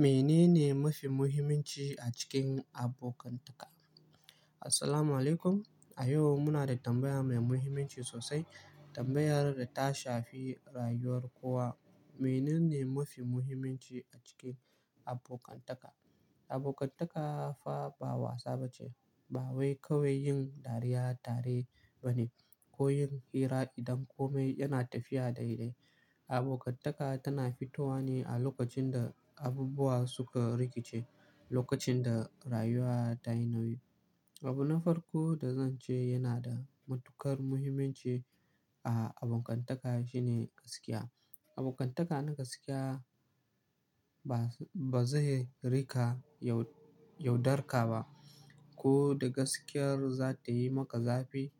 "Mene ne mafi muhimmanci a cikin abokantaka?" Assalamualaikum. A yau muna da tambaya mai muhimmanci sosai. Tambayar da ta shafi rayuwar kowa. Mene ne mafi muhimmanci a cikin abokantaka? Abokantaka fa ba wasa ba ce. Ba wai kawai yin dariya tare ba ne ko yin hira idan kome yana tafiya daidai. Abokantaka tana fitowa ne a lokacin da abubuwa suka rikice, lokacin da rayuwa ta yi nauyi. Abu na farko da zan ce yana da matuƙar muhimmanci a abokantaka shine gaskiya. Abokantaka na gaskiya ba-bazai rika yaud-yaudar ka ba. Ko da gaskiyar za ta yi maka zafi,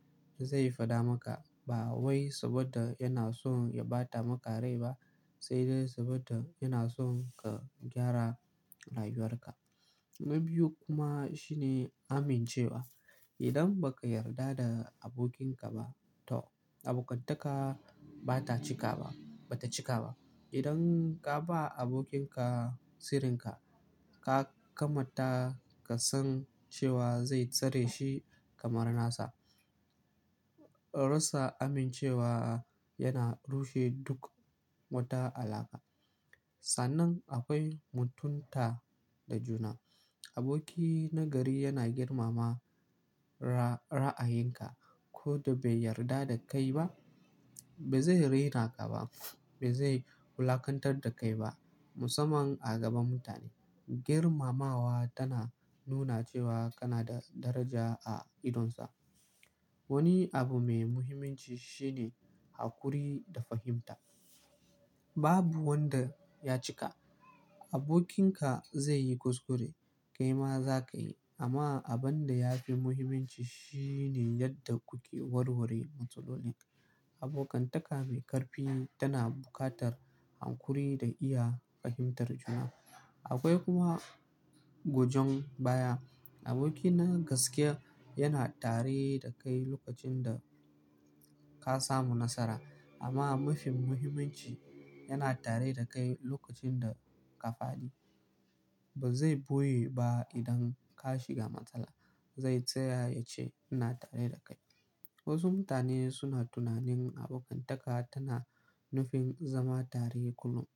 zai faɗa maka. Ba wai saboda yana son ya bata maka rai ba, sai dai saboda yana son ka gyara rayuwarka. Na biyu kuma shine amincewa. Idan ba ka yarda da abokinka ba, to abokantaka ba ta cika ba-- ba ta cika ba. Idan ka ba abokinka sirrinka, ka kamata ka san cewa zai tsare shi kamar nasa. Rasa amincewa yana rushe duk wata alaƙa. Sannan akwai mutunta da juna. Aboki na gari yana girmama ra'ayinka. Ko da bai yarda da kai ba, ba zai raina ka ba. Ba zai wulakantar da kai ba, musamman a gaban mutane. Girmamawa tana nuna cewa kana da daraja a idonsa. Wani abu mai muhimmanci shi ne hakuri da fahimta. Babu wanda ya cika. Abokinka zai yi kuskure, kai ma za ka yi. Amma abin da ya fi muhimmanci shi ne yadda kuke warware matsaloli. Abokantaka mai ƙarfi tana buƙatar hakuri da iya fahimtar juna. Akwai kuma gojon baya. Aboki na gaskiya yana tare da kai lokacin da ka samu nasara. Amma mafi muhimmanci, yana tare da kai lokacin da ka fadi. Ba zai boye ba idan ka shiga matsala, zai tsaya ya ce, "ina tare da kai." Wasu mutane suna tunanin abokantaka tana nufin zama tare kullum,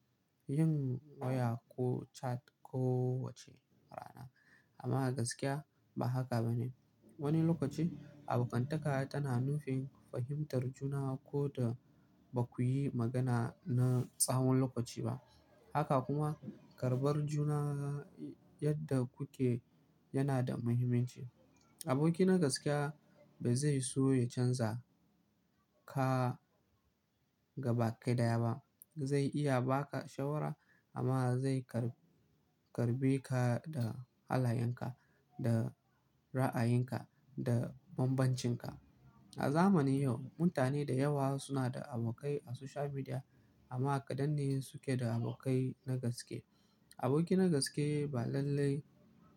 yin waya ko chat ko wace rana. Amma gaskiya ba haka ba ne. Wani lokaci abokantaka tana nufin fahimtar juna ko da ba ku yi magana na tsawon lokaci ba. Haka kuma karɓar juna yadda kuke yana da muhimmanci. Aboki na gaskiya ba zai so ya canza ka gabaki ɗaya ba. Zai iya ba ka shawara amma zai karɓ-karɓe ka da halayenka, da ra'ayinka, da bambancinka. A zamanin yau mutane da yawa suna da abokai a social media amma kaɗan ne suke da abokai na gaske. Aboki na gaske ba lallai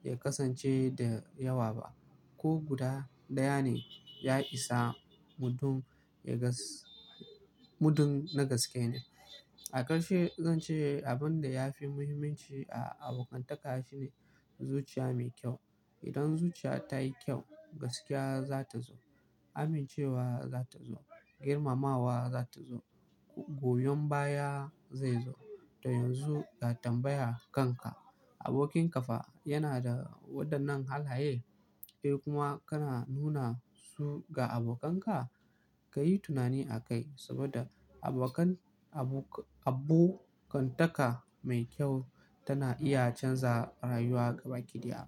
ya kasance da yawa ba, ko guda ɗaya ne ya isa. Muddin ya gask-- muddin na gaske ne. A ƙarshe zan ce abin da ya fi muhimmanci a abokantaka shi ne zuciya mai kyau. Idan zuciya ta yi kyau, gaskiya za ta zo, amincewa za ta zo, girmamawa za ta zo, goyon baya zai zo. To yanzu ka tambaya kanka, abokinka fa yana da waɗannan halaye? Kai kuma kana nuna su ga abokanka? Ka yi tunani a kai saboda abokan-- abo-- abokantaka mai kyau tana iya canza rayuwa gaba ɗaya.